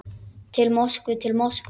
Til Moskvu, til Moskvu!